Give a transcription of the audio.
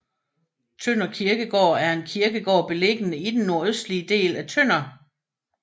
Tønder Kirkegård er en kirkegård beliggende i den nordøstlige del af Tønder